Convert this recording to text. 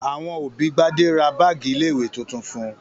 Àwọn òbí Gbadé ra báágì ilé-ìwé tuntun fún un.